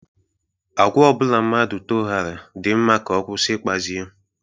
Agwa obula mmadu toghara di mma ka o kwusi ikpazi ya.